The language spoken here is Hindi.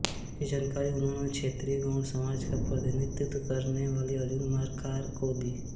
जिसकी जानकारी उन्होंने क्षत्रिय गौंड़ समाज का प्रतिनिधित्व करने वाले अर्जुन मरकार को दी